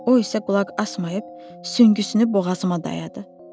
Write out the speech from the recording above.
O isə qulaq asmayıb süngüsünü boğazıma dayadı.